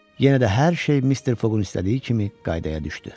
Yenə də hər şey Mister Foqun istədiyi kimi qaydaya düşdü.